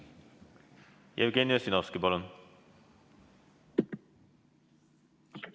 Jevgeni Ossinovski, palun!